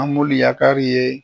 An yakari ye